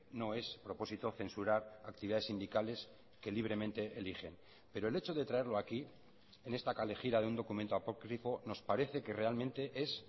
no es propósito censurar actividades sindicales que libremente eligen pero el hecho de traerlo aquí en esta kalejira de un documento nos parece que realmente es